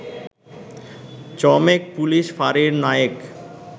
চমেক police ফাঁড়ির নায়েক